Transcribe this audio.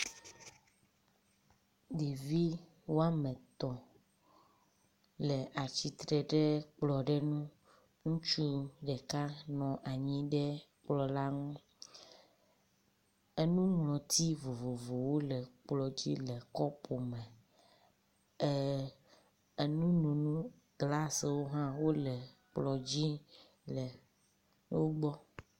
Ɖevi woametɔ̃ le atsitre ɖe kplɔ ɖe nu ŋutsu ɖeka nɔ anyi ɖe kplɔ la ŋu enuŋlɔti vovovowo le kplɔdzi le kɔpu me e enunono glasoo hã wóle kplɔ dzi le wogbɔ